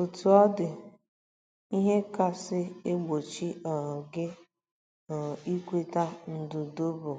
Otú ọ dị, ihe kasị egbochi um gị um ikweta ndudue bụ